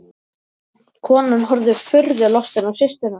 Konan horfði furðu lostin á systurnar.